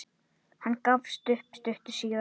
Hann gafst upp stuttu síðar.